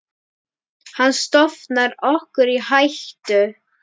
Hann stofnar okkur í hættu.